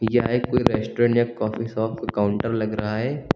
यह एक कोई रेस्टोरेंट या कॉफी शॉप का काउंटर लग रहा है।